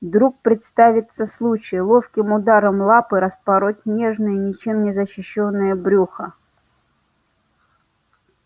вдруг представится случай ловким ударом лапы распороть нежное ничем не защищённое брюхо